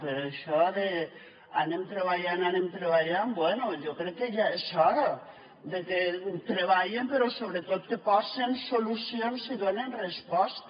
per això d’ anem treballant anem treballant bé jo crec que ja és hora que treballen però sobretot que posen solucions i donen resposta